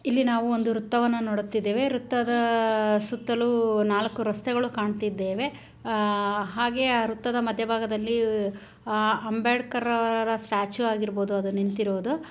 ಇಲ್ಲಿ ನಾವು ಒಂದು ವೃತ್ತವನ್ನು ನೋಡ್ತಿದ್ದೇವೆ ವೃತ್ತದ ಸುತ್ತಲೂ ನಾಲ್ಕು ವೃತ್ತಗಳು ಕಾಣುತ್ತಿದ್ದೇವೆ. ಹಾಗೆ ಆ ವೃತ್ತದ ಮಧ್ಯ ಭಾಗದಲ್ಲಿ ಅಂಬೇಡ್ಕರ್ ಅವರ ಸ್ಟ್ಯಾಚು ಆಗಿರಬಹುದು ಅದು ನಿಂತಿರುವುದು--